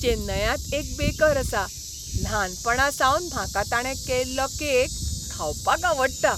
चेन्नयांत एक बेकर आसा, ल्हानपणासावन म्हाका ताणें केल्लो केक खावपाक आवडटा.